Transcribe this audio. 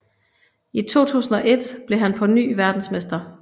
I 2001 blev han på ny verdensmester